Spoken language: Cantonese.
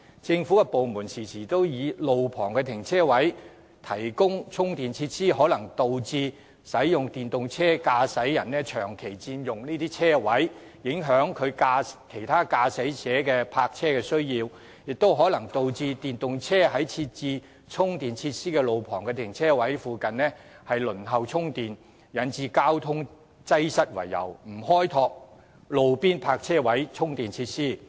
政府部門常常擔憂在路旁停車位提供充電設施，可能導致電動車駕駛者長期佔用停車位充電，影響其他駕駛者的泊車需要，亦可能導致電動車在設置充電設施的路旁停車位附近輪候充電，引致交通擠塞，因而不願開拓路邊泊車位充電設施。